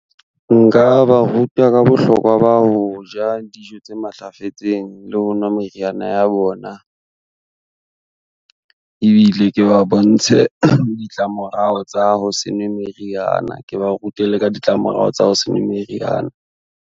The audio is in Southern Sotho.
Nka ba ruta ka bohlokwa ba ho ja, dijo tse matlafetseng le ho nwa meriana ya bona. Ebile ke ba bontshe ditlamorao tsa ho se nwe meriana, ke ba rute le ka ditlamorao tsa ho se nwe meriana.